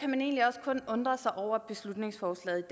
man egentlig også kun undre sig over beslutningsforslaget